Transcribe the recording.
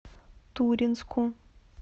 туринску